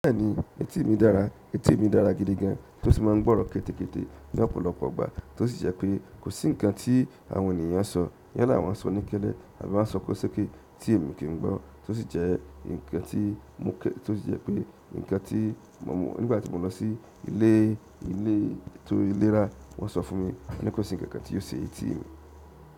Bẹ́ẹ̀ni etí mi dára, etí mi dára gidi gan, tó sì máa ń gbọ́rọ̀ kété kété ní ọ̀pọ̀lọpọ̀ ọgbà tó sì jẹ́ pé kò sí nǹkan tí àwọn ènìyàn ń sọ, yán la wọ́n ń sọ ní kẹlẹ́ àbí wọ́n ń sọ kó ṣe kí etí mi kì ń gbọ́, tó sì jẹ́ ǹkan tí mo kẹ́, tó sì jẹ́ pé ǹkan tí mo mọ̀ nígbà tí mo lọ sí ilé ilé ètò iléra wọ́n sọ fún mi pé wọn ní kó sì ǹkankan tí ó ṣe etí mi.